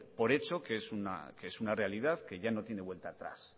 por hecho que es una realidad que ya no tiene vuelta atrás